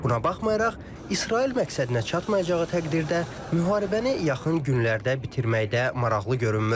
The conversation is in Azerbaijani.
Buna baxmayaraq, İsrail məqsədinə çatmayacağı təqdirdə müharibəni yaxın günlərdə bitirməkdə maraqlı görünmür.